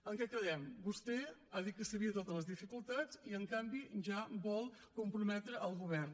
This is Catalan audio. en què quedem vostè ha dit que sabia totes les dificultats i en canvi ja vol comprometre el govern